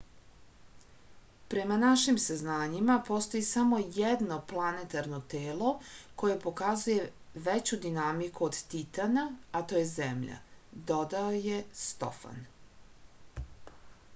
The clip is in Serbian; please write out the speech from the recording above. prema našim saznanjima postoji samo jedno planetarno telo koje pokazuje veću dinamiku od titana a to je zemlja dodao je stofan